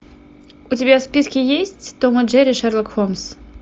у тебя в списке есть том и джерри шерлок холмс